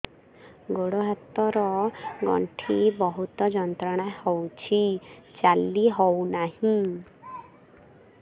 ଗୋଡ଼ ହାତ ର ଗଣ୍ଠି ବହୁତ ଯନ୍ତ୍ରଣା ହଉଛି ଚାଲି ହଉନାହିଁ